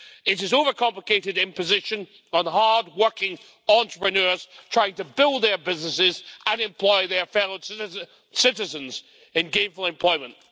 It is an overcomplicated imposition on hardworking entrepreneurs trying to build their businesses and employ their fellow citizens in gainful employment.